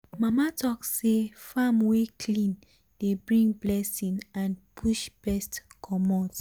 mama talk say farm wey clean dey bring blessing and push pest commot.